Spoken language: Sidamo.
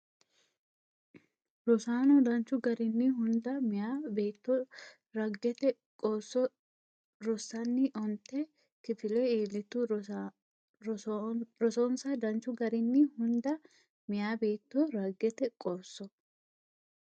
Rosonsa danchu garinni Hunda meyaa beetto raggete qoosso rossanni onte kifile iillitu Rosonsa danchu garinni Hunda meyaa beetto raggete qoosso.